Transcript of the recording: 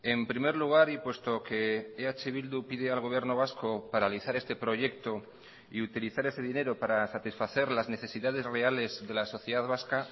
en primer lugar y puesto que eh bildu pide al gobierno vasco paralizar este proyecto y utilizar ese dinero para satisfacer las necesidades reales de la sociedad vasca